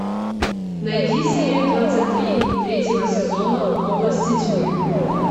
найди серию двадцать три третьего сезона области тьмы